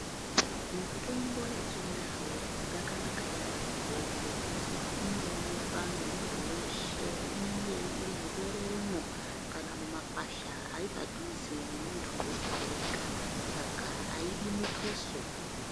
Mutombo yechindau yakanaka yambo ngekuti inoonekwa ngemundu weshe inenge iri mubereremo kana mumakwasha ari padhuze nemundu wega wega saka aidi mutuso